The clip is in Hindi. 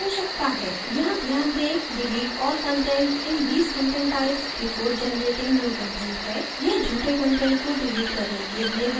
यहाँ ध्यान दें delete all content in these content types before generating new content है यह झूठे कंटेंट को डिलीट करने के लिए है